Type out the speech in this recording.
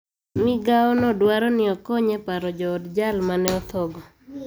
Migawo no dwaro ni okony e paro jood jal mane otho go